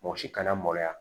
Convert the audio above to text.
Mɔgɔ si kana maloya